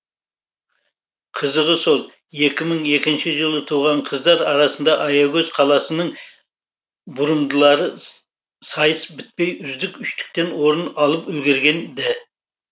қызығы сол екі мың екінші жылы туған қыздар арасында аягөз қаласының бұрымдылары сайыс бітпей үздік үштіктен орын алып үлгерген ді